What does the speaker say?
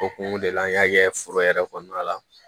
O kun de la an y'a kɛ foro yɛrɛ kɔnɔna la